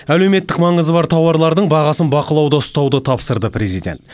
әлеуметтік маңызы бар тауарлардың бағасын бақылауда ұстауды тапсырды президент